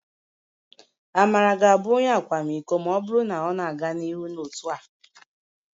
Amara ga-abụ Onye akwamiko... ma ọ bụrụ na ọ na-aga n'ihu otu a